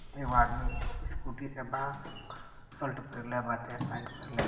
एगो आदमी इस्कुटी से बा शर्ट पहिनले बाटे पेंट पहनले --